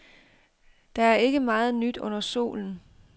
Der er ikke meget nyt under solen.